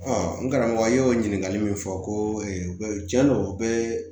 n karamɔgɔ ye o ɲininkali min fɔ ko tiɲɛ don u bɛ